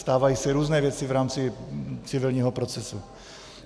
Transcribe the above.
Stávají se různé věci v rámci civilního procesu.